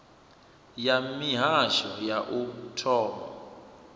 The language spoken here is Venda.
ya mihasho ya u thoma